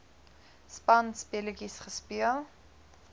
spanspe letjies gespeel